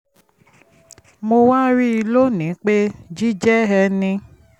àkókò tí mo fi dúró ní ọ́fíìsì dókítà